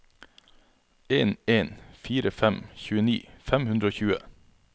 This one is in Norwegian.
en en fire fem tjueni fem hundre og tjue